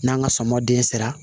N'an ka sɔmɔ den sera